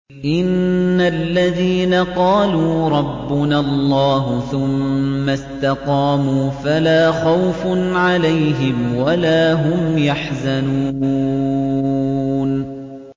إِنَّ الَّذِينَ قَالُوا رَبُّنَا اللَّهُ ثُمَّ اسْتَقَامُوا فَلَا خَوْفٌ عَلَيْهِمْ وَلَا هُمْ يَحْزَنُونَ